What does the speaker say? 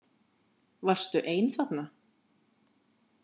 Varstu ein þarna?